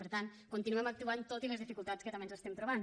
per tant continuem actuant tot i les dificultats que també ens estem trobant